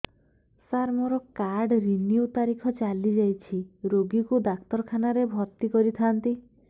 ସାର ମୋର card renew ତାରିଖ ଚାଲି ଯାଇଛି ରୋଗୀକୁ ଡାକ୍ତରଖାନା ରେ ଭର୍ତି କରିଥାନ୍ତି